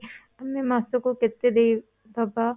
ମାନେ ମାସକୁ କେତେ ଦେଇ ଦବା?